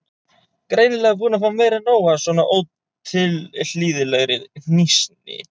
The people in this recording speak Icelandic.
Greinilega búin að fá meira en nóg af svona ótilhlýðilegri hnýsni.